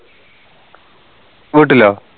വീട്ടിലോ